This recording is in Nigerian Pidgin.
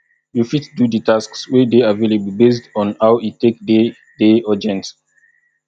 you fit do di tasks wey dey available based on how e take dey dey urgent